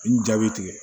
I n jaabi tigɛ